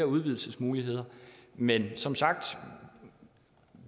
udvidelsesmuligheder men som sagt tager